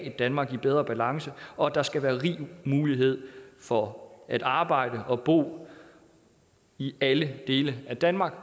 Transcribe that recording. et danmark i bedre balance og at der skal være rig mulighed for at arbejde og bo i alle dele af danmark